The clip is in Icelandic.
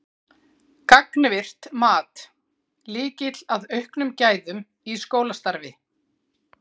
Gagnvirkt mat: Lykill að auknum gæðum í skólastarfi?